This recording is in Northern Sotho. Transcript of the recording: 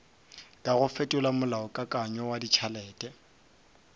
kago fetola molaokakanywa wa ditšhelete